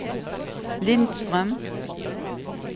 Lindstrøm